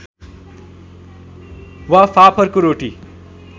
वा फाफरको रोटी